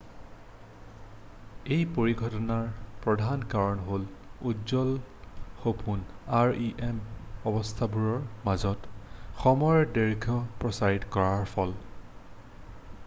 এই পৰিঘটনাটোৰ প্ৰধান কাৰণ হ'ল উজ্বল সপোনে rem অৱস্থাবোৰৰ মাজত সময়ৰ দৈৰ্ঘ্য প্ৰসাৰিত কৰাৰ ফল